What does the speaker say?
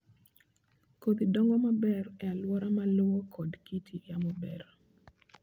Kodhi dongo maber e alwora ma lowo kod kit yamo beyo.